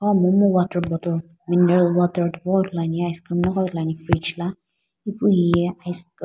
monu water bottle meneral water thipogho ithulu ane apu --